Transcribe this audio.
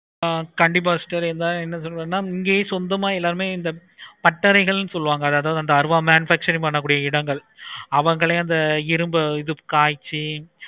ஆஹ் கண்டிப்பா sister என்ன சொல்லுவேன் இங்கயே சொந்தமா எல்லாமே இந்த பட்டறைகள் சொல்லுவாங்க அந்த அருவா manufacturing pஅண்ணா கூடிய இடங்கள் அவங்களே அந்த